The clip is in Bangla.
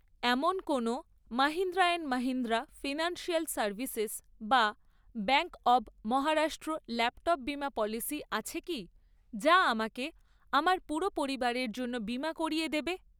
এমন কোনো Mahindra and Mahindra financial services বা ব্যাঙ্ক অব মহারাষ্ট্র ল্যাপ্টপ বিমা পলিসি আছে কি যা আমাকে আমার পুরো পরিবারের জন্য বিমা করিয়ে দেবে?